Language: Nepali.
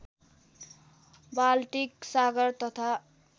बाल्टिक सागर तथा